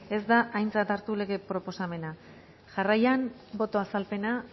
ez da aintzat hartu lege proposamena jarraian boto azalpena